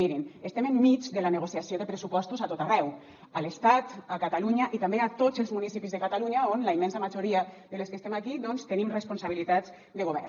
mirin estem enmig de la negociació de pressupostos a tot arreu a l’estat a catalunya i també a tots els municipis de catalunya on la immensa majoria de les que estem aquí doncs tenim responsabilitats de govern